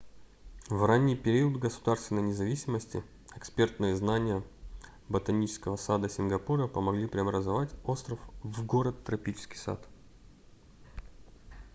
в ранний период государственной независимости экспертные знания ботанического сада сингапура помогли преобразовать остров в город-тропический сад